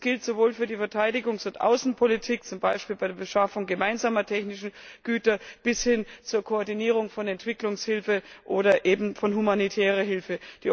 Das gilt sowohl für die Verteidigungs und Außenpolitik zum Beispiel bei der Beschaffung gemeinsamer technischer Güter als auch für die Koordinierung von Entwicklungshilfe oder von humanitärer Hilfe.